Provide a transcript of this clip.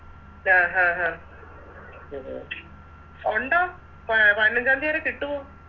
അഹ് അഹ് അഹ് ഒണ്ടോ പതിനഞ്ചാന്തി വരെ കിട്ടുവോ